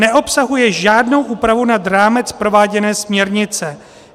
Neobsahuje žádnou úpravu nad rámec prováděné směrnice.